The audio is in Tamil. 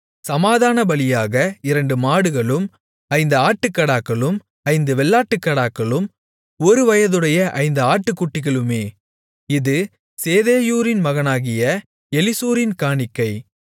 சமாதானபலியாக இரண்டு மாடுகளும் ஐந்து ஆட்டுக்காடாக்களும் ஐந்து வெள்ளாட்டுக்கடாக்களும் ஒருவயதுடைய ஐந்து ஆட்டுக்குட்டிகளுமே இது சேதேயூரின் மகனாகிய எலிசூரின் காணிக்கை